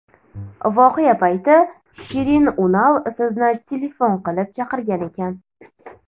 Voqea payti Shirin Unal sizni telefon qilib chaqirgan ekan.